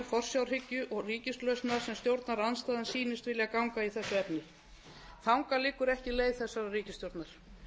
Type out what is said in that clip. forsjárhyggju og ríkislausna sem stjórnarandstaðan sýnist vilja ganga í þessu efni þangað liggur ekki leið þessarar ríkisstjórnar